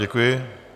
Děkuji.